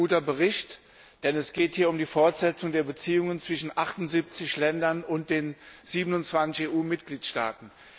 Das ist ein guter Bericht, denn es geht hier um die Fortsetzung der Beziehungen zwischen 78 Ländern und den 27 EU Mitgliedstaaten.